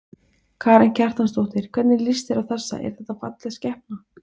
Viðbrögð kínverskra stjórnvalda hafa verið mikið gagnrýnd og voru sannarlega hörkuleg.